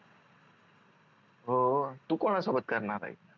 हो तू कोना सोबत करणार आहेस